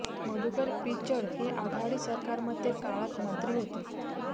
मधुकर पिचड हे आघाडी सरकारमध्ये काळात मंत्री होते